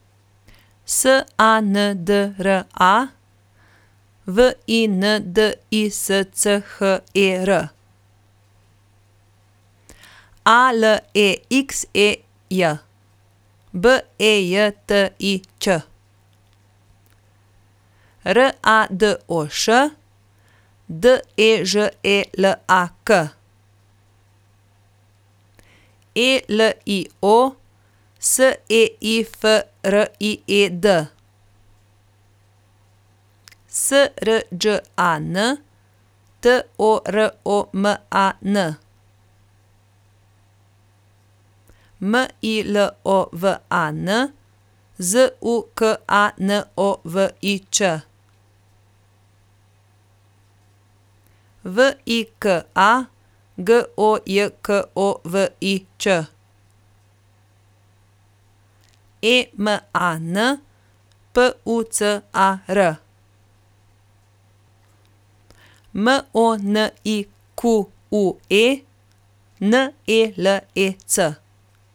S A N D R A, W I N D I S C H E R; A L E X E J, B E J T I Ć; R A D O Š, D E Ž E L A K; E L I O, S E I F R I E D; S R Đ A N, T O R O M A N; M I L O V A N, Z U K A N O V I Č; V I K A, G O J K O V I Ć; E M A N, P U C A R; M O N I Q U E, N E L E C.